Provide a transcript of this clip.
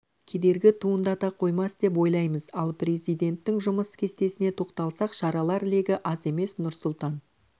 кедергі туындата қоймас деп ойлаймыз ал президенттің жұмыс кестесіне тоқталсақ шаралар легі аз емес нұрсұлтан